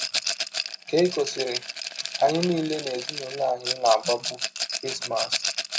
Keikọ sịrị: “ Anyị niile n’ezinụlọ anyị na - agbabụ Krismas.